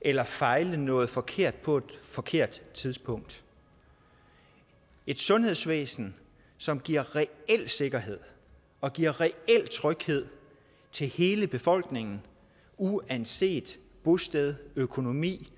eller fejle noget forkert på et forkert tidspunkt et sundhedsvæsen som giver reel sikkerhed og giver reel tryghed til hele befolkningen uanset bosted økonomi